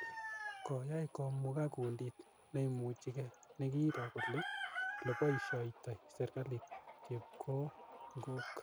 Koai komukak kundit neimuchikei ne ki roo kole ole poishoitoi serikalit chepkongok.